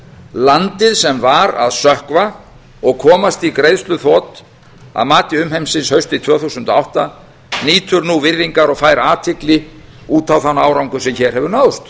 landið sem var að sökkva og komast í greiðsluþrot að mati umheimsins haustið tvö þúsund og átta nýtur nú virðingar og fær athygli út á þann árangur sem hér hefur náðst